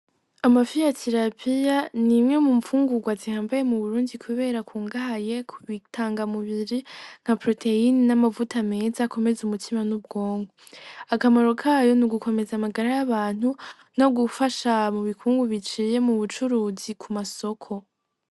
Amafi ya terapiya n'imwe mu mfungurwa zihambaye mu Burundi kubera akungahaye ku bitangamubiri nka poroteyine n'amavuta meza akomeza umutima n'ubwonko, akamaro kayo n'ugukomeza amagara y'abantu, no gufasha mu bukungu biciye mu bucuruzi ku masoko.